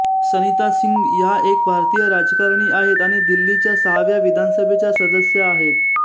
सरिता सिंग ह्या एक भारतीय राजकारणी आहेत आणि दिल्लीच्या सहाव्या विधानसभेच्या सदस्या आहेत